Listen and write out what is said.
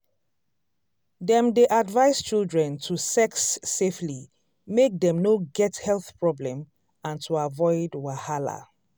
dem dey advice children to sex safely make dem no get health problem and to avoid wahala.